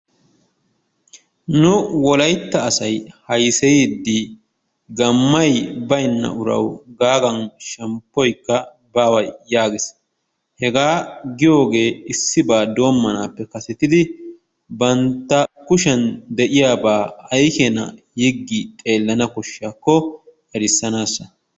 Nu wolaytta asay hayseyiiddi gammay baynna urawu gaagan shemppoykka baawa yaagees. Hegaa giyogee issibaa doommanaappe kasetidi bantta kushiyan de'iyabaa ay keenaa yiggi xeellana koshshiyakko erissanaassa.